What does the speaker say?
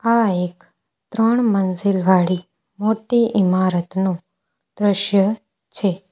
આ એક ત્રણ મંજિલ વાળી મોટી ઈમારતનું દ્રશ્ય છે.